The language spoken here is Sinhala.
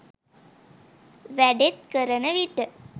වැඩෙත් කරන විට